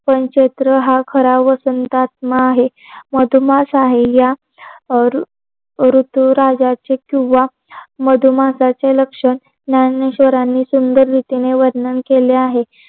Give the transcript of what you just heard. चैत्र हा खरा व संत आत्मा आहे मधुमास आहे. या ऋतुराजाचे किंवा मधुमासाचे लक्षण ज्ञानेश्वरांनी सुंदर रीतीने वर्णन केलेलं आहे.